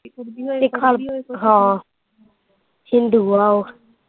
ਹਿੰਦੂ ਆ ਉਹ।